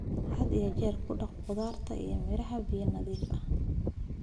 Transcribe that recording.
Had iyo jeer ku dhaq khudaarta iyo miraha biyo nadiif ah.